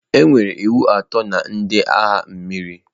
Enwere iwu atọ na ndị agha mmiri.